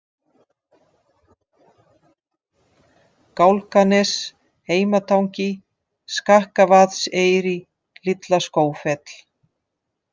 Gálganes, Heimatangi, Skakkavaðseyri, Litla-Skógfell